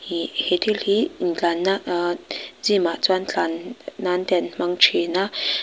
iihh he thil hi in tlanna ahh gym ah chuan tlan nan te an hmang thin a.